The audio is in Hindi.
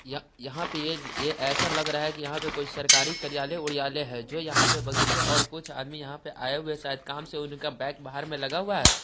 यहां पे ऐसा लग रहा है यहां पे कुछ सरकारी कार्यालय उरर्यालय है जो यहाँ पे बगीचे और कुछ आदमी यहाँ पे आए हुए शायद काम से उनका बैग बाहर में लगा हुआ है।